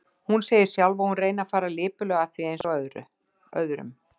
Hún segir sjálf að hún reyni að fara lipurlega að því, eins og öðrum.